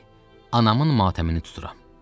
Bəli, anamın matəmini tuturam,